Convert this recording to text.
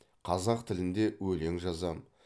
қазақ тілінде өлең жазамын